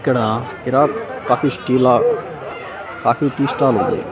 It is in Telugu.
ఇక్కడ ఇరాక్ కాఫీ స్టీల కాఫీ టీ స్టాలుంది .